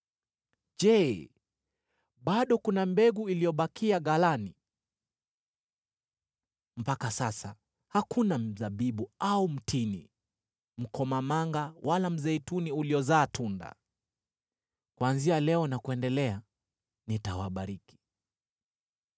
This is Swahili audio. Je, bado kuna mbegu iliyobakia ghalani? Mpaka sasa, hakuna mzabibu au mtini, mkomamanga wala mzeituni uliozaa tunda. “ ‘Kuanzia leo na kuendelea, nitawabariki.’ ”